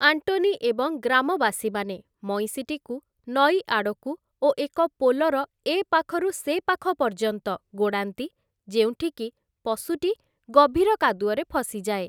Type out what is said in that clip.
Antony ଏବଂ ଗ୍ରାମବାସୀମାନେ ମଇଁଷିଟିକୁ ନଈ ଆଡ଼କୁ ଓ ଏକ ପୋଲର ଏ ପାଖରୁ ସେପାଖ ପର୍ଯ୍ୟନ୍ତ ଗୋଡ଼ାନ୍ତି, ଯେଉଁଠିକି ପଶୁଟି ଗଭୀର କାଦୁଅରେ ଫସିଯାଏ ।